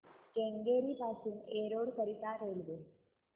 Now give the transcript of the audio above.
केंगेरी पासून एरोड करीता रेल्वे